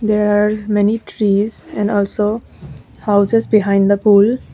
there are many trees and also houses behind the pool.